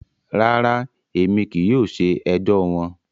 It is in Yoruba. Rara, Emi kii yóò ṣe ẹjọ wọn.